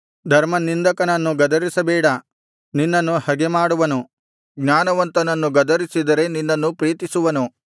ಧರ್ಮನಿಂದಕನನ್ನು ಗದರಿಸಬೇಡ ನಿನ್ನನ್ನು ಹಗೆಮಾಡುವನು ಜ್ಞಾನವಂತನನ್ನು ಗದರಿಸಿದರೆ ನಿನ್ನನ್ನು ಪ್ರೀತಿಸುವನು